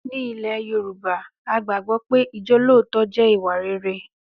Ní ilẹ̀ Yorùbá, a gbàgbọ́ pé ijolootọ jẹ́ ìwà rere